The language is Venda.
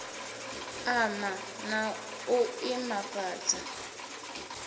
ama na u iman afhadza